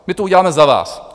My to uděláme za vás.